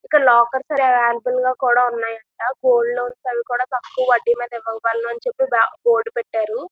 ఇక్కడ lockers available గా కూడ ఉన్నాయి అంట గోల్డ లోన్స్ అవి కూడా తక్కువ వడ్డీ మీద ఇవ్వగలమని చెప్పి బోర్డు పెట్టారు.